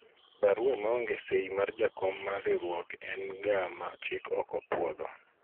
barua maonge sei mar jakom mar riwruok en ga ma chik ok opwodho